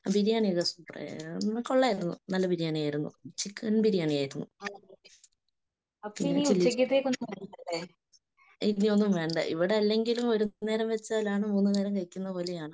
ബിരിയാണിയെല്ലാം സൂപ്പറാ കൊള്ളായിരുന്നു. നല്ല ബിരിയാണിയായിരുന്നു. ചിക്കൻ ബിരിയാണിയായിരുന്നു.പിന്നെ ചില്ലിചിക്കനും. ഇനി ഒന്നും വേണ്ട. ഇവിടെ അല്ലെങ്കിലും ഒരുനേരം വെച്ചാൽ മൂന്നുനേരം കഴിക്കും പോലെയാണ്.